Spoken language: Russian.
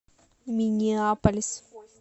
миннеаполис